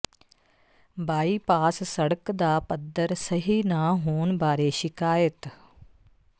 bypass ਸੜਕ ਦਾ ਪੱਧਰ ਸਹੀ ਨਾ ਹੋਣ ਬਾਰੇ ਸ਼ਿਕਾਇਤ